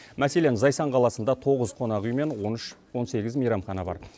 мәселен зайсан қаласында тоғыз қонақүй мен он үш он сегіз мейрамхана бар